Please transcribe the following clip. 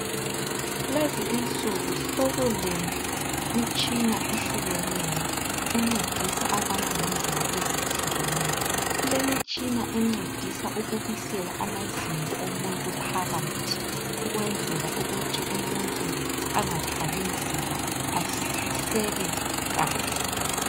lezi insuku sokulemitshina ehlukeneyo encedisa abantu ngendlela ezihlukeneyo ,kulemitshina encedisa ukubisela amazinyo omuntu phakathi ukwenzela ukuthi umuntu angathwali nzima ahleke kahle